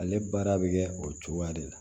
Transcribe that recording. Ale baara bɛ kɛ o cogoya de la